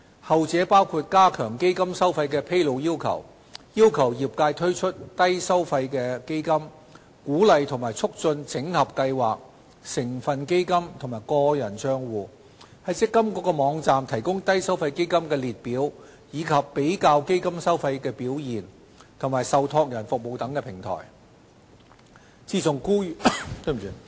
後者包括加強基金收費的披露要求、要求業界推出低收費基金、鼓勵及促進整合計劃、成分基金和個人帳戶、在積金局網站提供低收費基金列表、比較基金收費和表現及受託人服務的平台等。